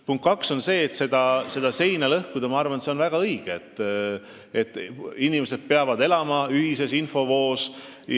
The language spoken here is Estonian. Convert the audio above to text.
Punkt kaks: ma arvan, et väga õige on seda seina lõhkuda, inimesed peavad elama ühises infovoos.